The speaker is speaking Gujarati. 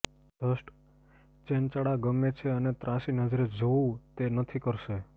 જસ્ટ ચેનચાળા ગમે છે અને ત્રાંસી નજરે જોવું તે નથી કરશે